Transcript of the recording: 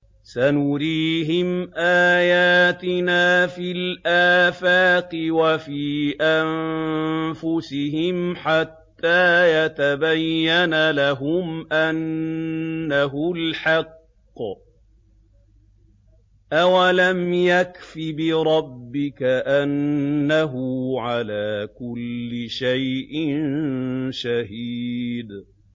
سَنُرِيهِمْ آيَاتِنَا فِي الْآفَاقِ وَفِي أَنفُسِهِمْ حَتَّىٰ يَتَبَيَّنَ لَهُمْ أَنَّهُ الْحَقُّ ۗ أَوَلَمْ يَكْفِ بِرَبِّكَ أَنَّهُ عَلَىٰ كُلِّ شَيْءٍ شَهِيدٌ